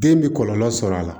Den bi kɔlɔlɔ sɔrɔ a la